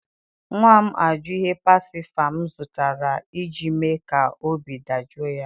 nwa m ajụ ihe pacifier m zụtara iji mee ka obi dajụọ ya.